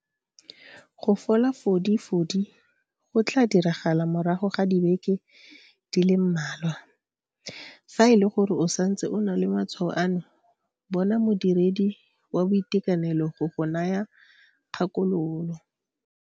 Go fola fodi fodi go tla diragala morago ga dibeke di le mmalwa. Fa e le gore o santse o na le matshwao ano, bona modiredi wa tsa boitekanelo go go naya kgakololo.